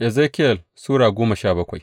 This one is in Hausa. Ezekiyel Sura goma sha bakwai